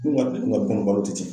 Dun ka du ka bon balo te ten.